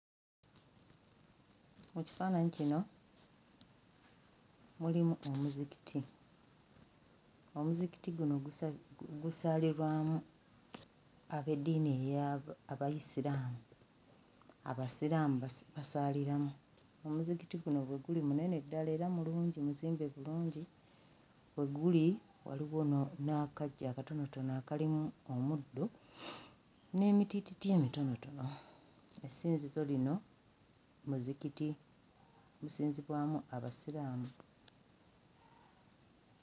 Mu kifaananyi kino mulimu omuzikiti omuzikiti guno gusa gusaalibwamu ab'eddiini eya Abayisiraamu Abasiraamu basa basaaliramu omuzikiti guno bwe guli munene ddala era mulungi muzimbe bulungi we guli waliwo no n'akaggya akatonotono akalimu omuddo n'emitiititi emitonotono essinzizo lino muzikiti gusinzibwamu Abasiraamu.